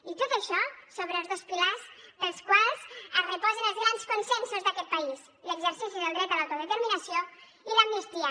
i tot això sobre els dos pilars pels quals es reposen els grans consensos d’aquest país l’exercici del dret a l’autodeterminació i l’amnistia